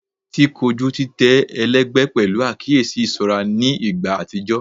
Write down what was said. Ti koju titẹ ẹlẹgbẹ pẹlu akiyesi iṣọra ni igba atijọ